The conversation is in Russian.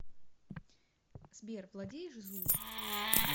сбер владеешь зулу